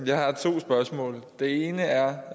jeg har to spørgsmål det ene er